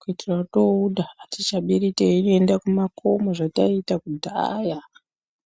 kuitira touda atichabiri teienda kumakomo zvataita kudhaya.